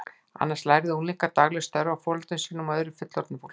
Annars lærðu unglingar dagleg störf af foreldrum sínum og öðru fullorðnu fólki.